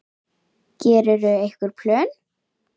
Gerirðu einhver plön?